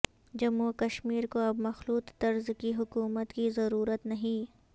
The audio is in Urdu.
جموں وکشمیر کو اب مخلوط طرز کی حکومت کی ضرورت نہیں